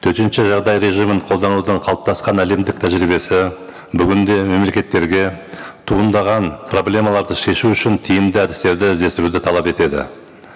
төтенше жағдай режимін қолданудан қалыптасқан әлемдік тәжірибесі бүгін де мемлекеттерге туындаған проблемаларды шешу үшін тиімді әдістерді іздестіруді талап етеді